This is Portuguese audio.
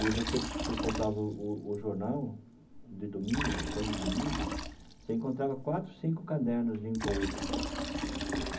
E você comprava o o jornal de domingo, principalmente de domingo, você encontrava quatro, cinco cadernos de emprego.